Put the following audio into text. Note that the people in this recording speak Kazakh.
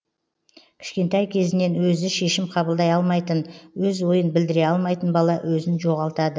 кішкентай кезінен өзі шешім қабылдай алмайтын өз ойын білдіре алмайтын бала өзін жоғалтады